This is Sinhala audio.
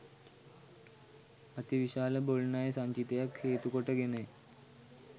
අති විශාල බොල් ණය සංචිතයක් හේතු කොට ගෙනය.